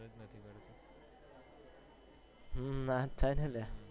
હમ નાજ થાય ને અલ્યા